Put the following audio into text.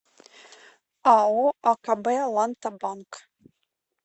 ао акб ланта банк